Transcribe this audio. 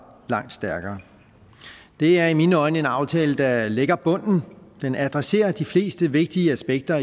langt stærkere det er i mine øjne en aftale der lægger bunden og den adresserer de fleste vigtige aspekter